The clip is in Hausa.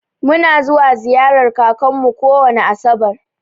Mu na zuwa ziƴarar ƙakar mu kowani asabar.